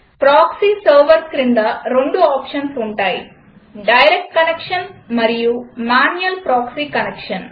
proxy server క్రింద రెండు options ఉంటాయి డైరెక్ట్ కనెక్షన్ మరియు మ్యాన్యుయల్ ప్రాక్సీ కనెక్షన్